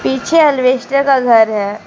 पीछे अलवेस्टर का घर है।